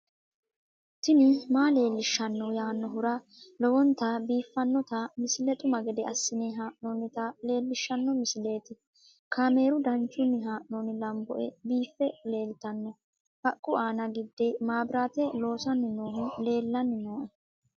tini maa leelishshanno yaannohura lowonta biiffanota misile xuma gede assine haa'noonnita leellishshanno misileeti kaameru danchunni haa'noonni lamboe biiffe leeeltanno haqqu aana gidde maabiraate loosanni noohu leellanni noooe